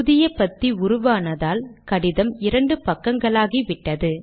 புதிய பத்தி உருவானதால் கடிதம் இரண்டு பக்கங்களாகிவிட்டது